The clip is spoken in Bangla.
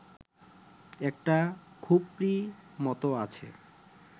একটা খুপরি মতো আছে